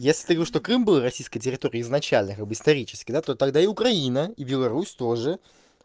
если ты говоришь что крым был российской территорией изначально как бы исторически то тогда и украина и беларусь тоже